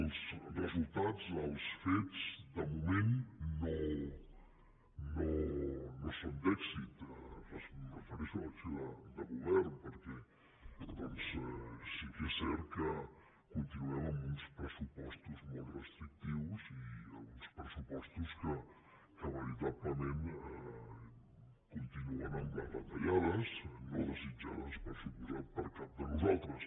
els resultats els fets de moment no són d’èxit em refereixo a l’acció de govern perquè doncs sí que és cert que continuem amb uns pressupostos molt restrictius i uns pressupostos que veritablement continuen amb les retallades no desitjades per descomptat per cap de nosaltres